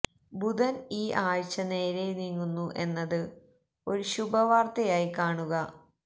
ബുധൻ ഈ ആഴ്ച നേരെ നീങ്ങുന്നു എന്നത് ഒരു ശുഭ വാർത്തയായി കാണുക